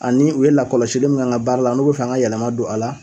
Ani u ye lakɔlɔsili min k'an ka baara la, n'u bi fɛ n ga yɛlɛma don a la